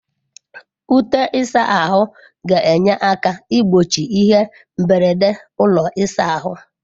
Ute ịsa ahụ ga-enye aka igbochi ihe mberede ụlọ ịsa ahụ.